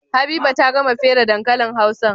Habiba ta gama fere dankalin hausan?